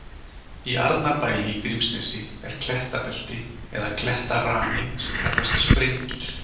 Í Arnarbæli í Grímsnesi er klettabelti eða klettarani sem kallast Sprengir.